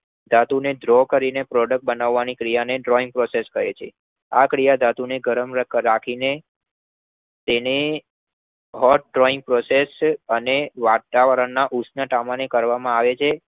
ધાતુને dro કરીને product બનાવવાની ક્રિયાને Drawing process કહે છે આ ક્રિયા ધાતુને ગરમ કરીને કરવામાં આવે તો તેને Hot drawing process અને વાતાવરણના ઉષ્ણતામાને કરવામાં આવે છે